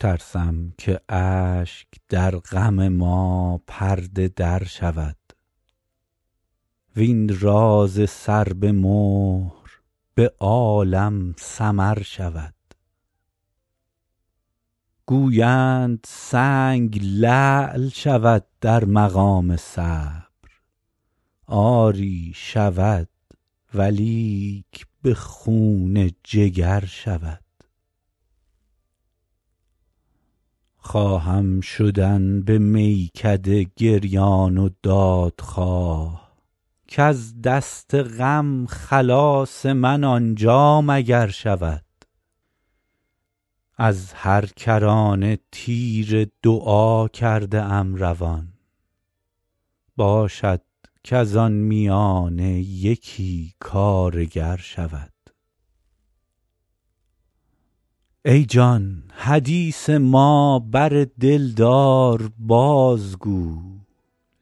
ترسم که اشک در غم ما پرده در شود وین راز سر به مهر به عالم سمر شود گویند سنگ لعل شود در مقام صبر آری شود ولیک به خون جگر شود خواهم شدن به میکده گریان و دادخواه کز دست غم خلاص من آنجا مگر شود از هر کرانه تیر دعا کرده ام روان باشد کز آن میانه یکی کارگر شود ای جان حدیث ما بر دلدار بازگو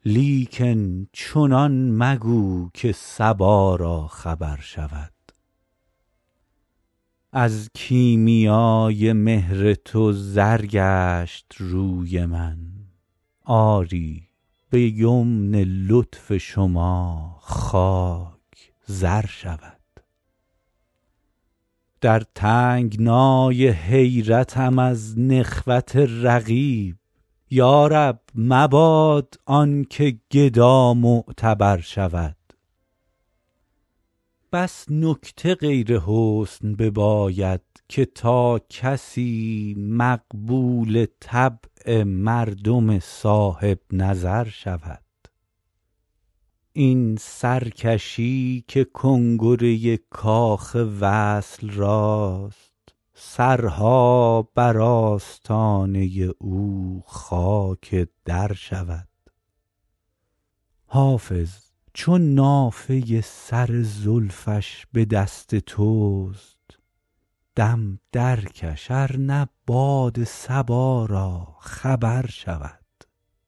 لیکن چنان مگو که صبا را خبر شود از کیمیای مهر تو زر گشت روی من آری به یمن لطف شما خاک زر شود در تنگنای حیرتم از نخوت رقیب یا رب مباد آن که گدا معتبر شود بس نکته غیر حسن بباید که تا کسی مقبول طبع مردم صاحب نظر شود این سرکشی که کنگره کاخ وصل راست سرها بر آستانه او خاک در شود حافظ چو نافه سر زلفش به دست توست دم درکش ار نه باد صبا را خبر شود